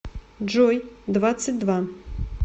джой двадцать два